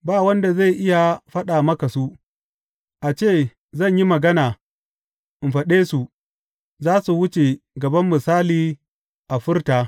Ba wanda zai iya faɗa maka su; a ce zan yi magana in faɗe su, za su wuce gaban misali a furta.